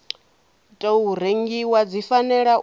tou rengiwa dzi fanela u